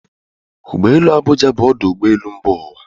Ụgbọ elu Abụja bụ ọdụ ụgbọ elu mba ụwa